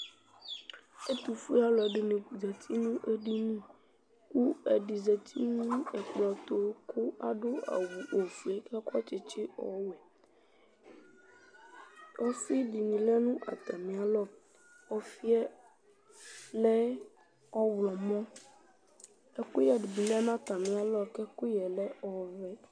Ɛtʋfue alʋɛdɩnɩ zati nʋ edini kʋ ɛdɩ zati nʋ ɛkplɔ tʋ kʋ adʋ awʋ ofue kʋ akɔ ɛkɔ tsɩtsɩ ɔwɛ Ɔfɩ dɩnɩ lɛ nʋ atamɩalɔ Ɔfɩ yɛ lɛ ɔɣlɔmɔ Ɛkʋyɛ dɩ lɛ nʋ atamɩalɔ kʋ ɛkʋyɛ lɛ ɔvɛ